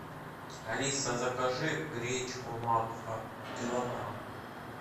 алиса закажи гречку макфа килограмм